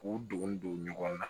K'u don don ɲɔgɔn na